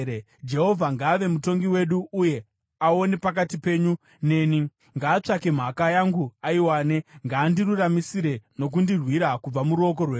Jehovha ngaave mutongi wedu uye aone pakati penyu neni. Ngaatsvake mhaka yangu aiwane; ngaandiruramisire nokundirwira kubva muruoko rwenyu.”